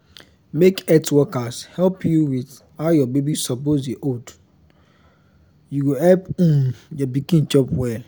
make health workers help you with how your baby suppose dey hold you go help um your pikin chop well